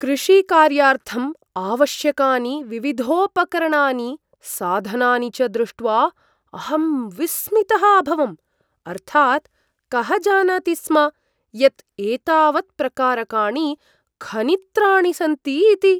कृषिकार्यार्थम् आवश्यकानि विविधोपकरणानि, साधनानि च दृष्ट्वा अहं विस्मितः अभवम्। अर्थात् कः जानाति स्म यत् एतावत्प्रकारकाणि खनित्राणि सन्ति इति?